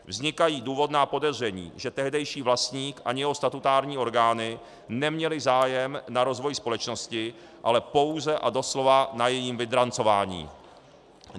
Vznikají důvodná podezření, že tehdejší vlastník ani jeho statutární orgány neměli zájem na rozvoji společnosti, ale pouze a doslova na jejím vydrancování.